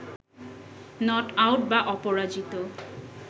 not out বা অপরাজিত